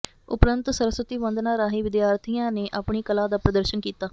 ਉਪਰੰਤ ਸਰਸਵਤੀ ਵੰਦਨਾ ਰਾਹੀਂ ਵਿਦਿਆਰਥੀਆਂ ਨੇ ਆਪਣੀ ਕਲਾ ਦਾ ਪ੍ਰਦਰਸ਼ਨ ਕੀਤਾ